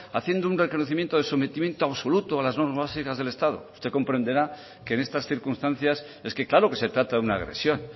haciendo un reconocimiento de sometimiento absoluto a las normas básicas del estado usted comprenderá que en estas circunstancias es que claro que se trata de una agresión